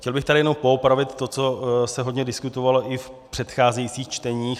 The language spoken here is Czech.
Chtěl bych zde jen poopravit to, co se hodně diskutovalo i v předcházejících čteních.